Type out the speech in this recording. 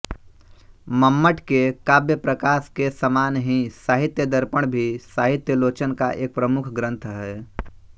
मम्मट के काव्यप्रकाश के समान ही साहित्यदर्पण भी साहित्यालोचना का एक प्रमुख ग्रन्थ है